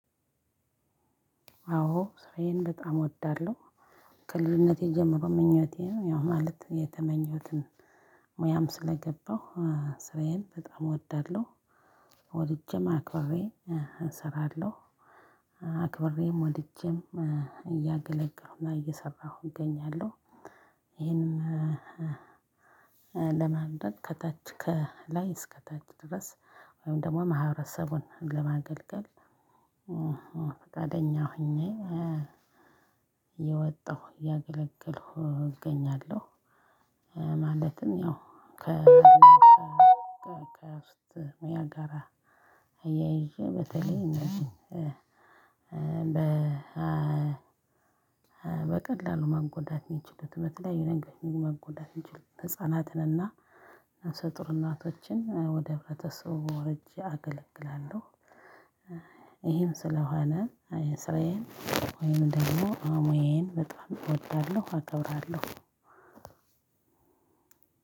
አዎ ስራዬን በጣም እወዳለሁ። ከልጅነቴ ጀምሮ ምኞቴ ነው ያው ማለት የተመኘሁትን ሙያም ስለገባሁ ስራዬን በጣም እወዳለሁ። ወድጄም አክብሬ እሰራለሁ። አክብሬም ወድጄም እያገለገሉና እየሰራሁ እገኛለሁ። ይሄንም ለማምደት ከታች ከላይ እስከ ታች ድረስ። ወይም ደግሞ ማህበረሰቡን ለማገልግል ፈቃደኛ ሆኜ የወጣሁ ያገለገሉ እገኛለሁ። ማለትም ያው ከአጋራ አያይዤ በተለይ ነው። በቀላሉ ማጎዳት ሚችሉት በተለይ የነገር መጎዳት የሚችሉት ህፃናትን እና ነፍሰጡር እናቶችን ወደ ህብረተሰቡ ወርጄ አገልግላለሁ። ይሄም ስለሆነ ስራዬን ወይም ደግሞ አሙዬን በጣም እወድላለሁ አከብራለሁ።